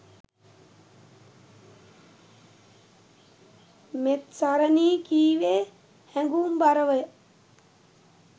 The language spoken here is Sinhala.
මෙත්සරණී කීවේ හැඟුම්බරවය.